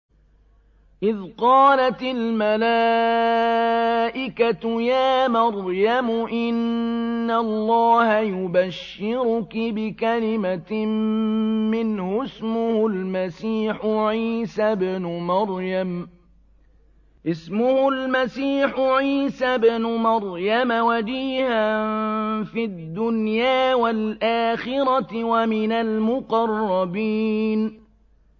إِذْ قَالَتِ الْمَلَائِكَةُ يَا مَرْيَمُ إِنَّ اللَّهَ يُبَشِّرُكِ بِكَلِمَةٍ مِّنْهُ اسْمُهُ الْمَسِيحُ عِيسَى ابْنُ مَرْيَمَ وَجِيهًا فِي الدُّنْيَا وَالْآخِرَةِ وَمِنَ الْمُقَرَّبِينَ